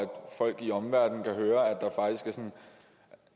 folk i omverdenen kan høre